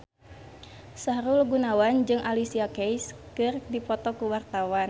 Sahrul Gunawan jeung Alicia Keys keur dipoto ku wartawan